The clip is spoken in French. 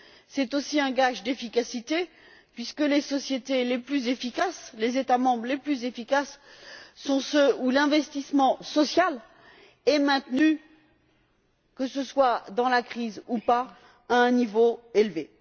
C'est aussi un gage d'efficacité puisque les sociétés les plus efficaces, les États membres les plus efficaces sont ceux où l'investissement social est maintenu, que ce soit en période de crise ou pas, à un niveau élevé.